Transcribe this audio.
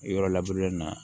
Yɔrɔ laburelen na